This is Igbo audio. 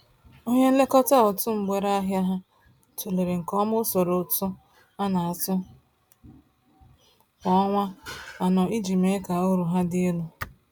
Onye nlekọta ụtụ mgbere ahia ha, tụlere nke ọma usoro ụtụ a na-atụ kwa ọnwa anọ iji mee ka uru ha dị elu